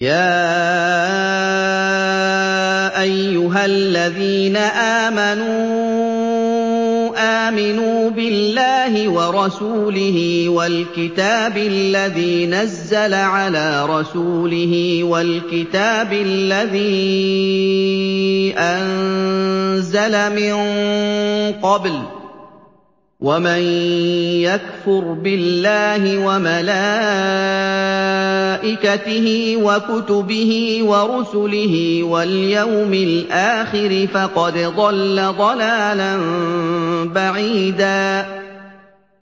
يَا أَيُّهَا الَّذِينَ آمَنُوا آمِنُوا بِاللَّهِ وَرَسُولِهِ وَالْكِتَابِ الَّذِي نَزَّلَ عَلَىٰ رَسُولِهِ وَالْكِتَابِ الَّذِي أَنزَلَ مِن قَبْلُ ۚ وَمَن يَكْفُرْ بِاللَّهِ وَمَلَائِكَتِهِ وَكُتُبِهِ وَرُسُلِهِ وَالْيَوْمِ الْآخِرِ فَقَدْ ضَلَّ ضَلَالًا بَعِيدًا